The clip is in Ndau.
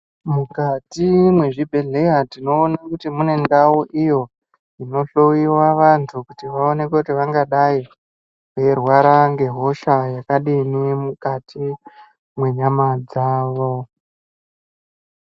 Mukati mwezvibhedhleya tinoonakuti mune ndau iyo inohloyiwa vantu kuti vaonekee kuti vangadai veirwara hosha yakadini mukati mwenyama dzavo .